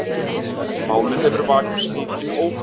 Málið hefur vakið mikinn óhug